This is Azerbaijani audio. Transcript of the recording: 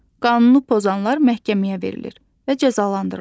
Qanunu pozanlar məhkəməyə verilir və cəzalandırılır.